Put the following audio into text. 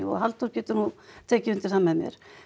og Halldór getur nú tekið undir það með mér